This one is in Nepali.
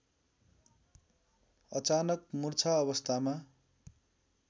अचानक मुर्छा अवस्थामा